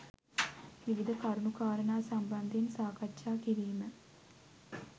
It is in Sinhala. විවිධ කරුණු කාරණා සම්බන්ධයෙන් සාකච්ඡා කිරීම